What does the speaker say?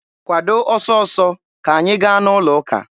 Kwado ọsọ ọsọ, ka anyị gaa n'ụlọ ụka!